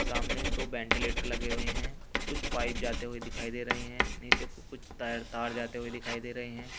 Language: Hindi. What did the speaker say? सामने दो वेंटीलेटर लगे हुए हैं और कुछ पाइप जाते हुए दिखाई दे रहे हैं नीचे को कुछ त तार जाते हुए दिखाई दे रहे हैं।